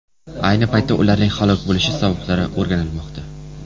Ayni paytda ularning halok bo‘lishi sabablari o‘rganilmoqda.